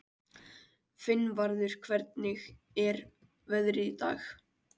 Finnvarður, hvernig er veðrið í dag?